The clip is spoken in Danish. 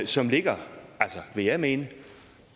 som ligger vil jeg mene